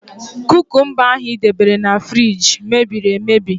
Kúkúmba ahụ i debere na fruidge mebiri emebi.